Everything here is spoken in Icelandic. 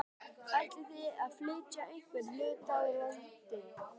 Ætlið þið að flytja einhvern hluta úr landi þá?